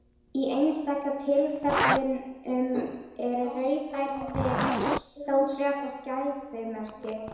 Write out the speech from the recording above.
Í einstaka tilfellum eru rauðhærðir þó frekar gæfumerki.